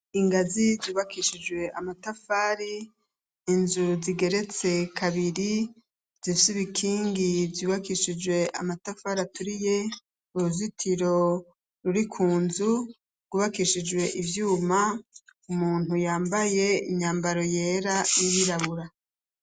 Ingazi zubakishijwe amatafari inzu zigeretse kabiri zisuba ikingi zubakishijwe amatafari aturiye uruzitiro ruri ku nzu rwubakishijwe ivyuma umuntu yambaye inyambaro yera y'iyirabura.